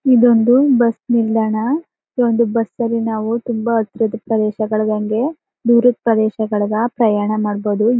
ಇದೊಂದು ಬಸ್ ನಿಲ್ದಾಣ ಈ ಒಂದು ಬಸ್ಸಲ್ಲಿ ನಾವು ತುಂಬಾ ಹತ್ರದ್ ಪ್ರದೇಶಗಳಿಗೆ ದೂರದ ಪ್ರದೇಶಗಳಿಗ ಪ್ರಯಾಣ ಮಾಡಬಹುದು.